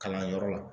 Kalanyɔrɔ la